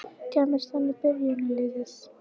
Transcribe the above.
Kæmist hann í byrjunarliðið?